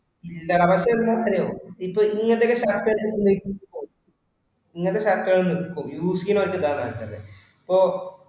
ഇല്ലടാ പക്ഷെ ഒരു കാര്യവാ, ഇപ്പൊ ഇങ്ങനത്തെ ഒക്കെ shirt ഉപയോഗിക്കുന്നവർക്ക്, ഓ ഇങ്ങനത്തെ ഒക്കെ shirt ഉകൾ use ചെയ്യാണോർക്കു ഇതാ നല്ലത് ഇപ്പൊ